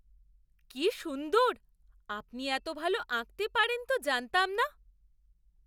কি সুন্দর! আপনি এত ভাল আঁকতে পারেন তো জানতাম না!